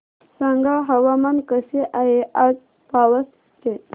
सांगा हवामान कसे आहे आज पावस चे